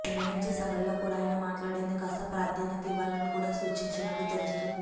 నిర్వహించే సభల్లో కూడా ఆయన మాట్లాడేందుకు కాస్త ప్రాధాన్యత ఇవ్వాలని కూడా సూచించినట్టు తెలుస్తోంది